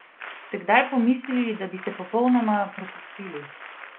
Ste kdaj pomislili, da bi se popolnoma prepustili?